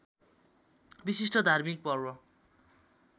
विशिष्ट धार्मिक पर्व